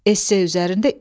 Esse üzərində iş.